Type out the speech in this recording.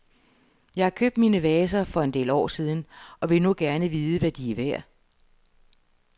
Jeg har købt mine vaser for en del år siden, og vil nu gerne vide, hvad de er værd.